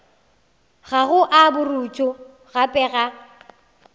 gago a borutho gape a